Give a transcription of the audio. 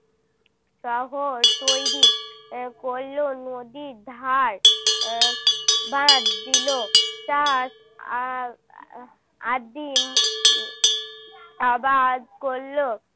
তখন তৈরি করল নদীর ধার বাঁধ দিল চাষ আর~ আর~আদিম আবাদ করল